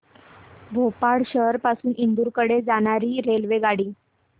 भोपाळ शहर पासून इंदूर कडे जाणारी रेल्वेगाडी